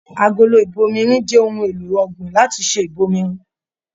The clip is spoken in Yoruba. Agolo ibòmírin jẹ ohùn èlò ọ̀gbìn láti ṣe ibòmírin.